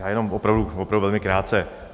Já jenom opravdu, opravdu velmi krátce.